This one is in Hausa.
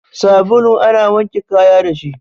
Sabulu ana wanke kaya dashi